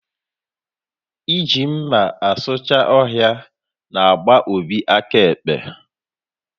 Ị ji mma asucha ọhịa n'gba Obi aka ekpe